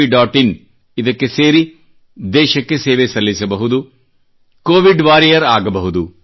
in ಗೆ ಸೇರಿ ದೇಶಕ್ಕೆ ಸೇವೆ ಸಲ್ಲಿಸಬಹುದು ಕೋವಿಡ್ ವಾರಿಯರ್ ಆಗಬಹುದು